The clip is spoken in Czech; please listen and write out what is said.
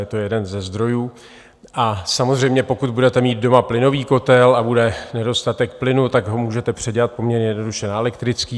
Je to jeden ze zdrojů, a samozřejmě pokud budete mít doma plynový kotel a bude nedostatek plynu, tak ho můžete předělat poměrně jednoduše na elektrický.